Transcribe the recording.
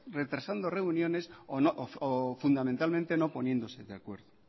retrasando reuniones o fundamentalmente no poniéndose de acuerdo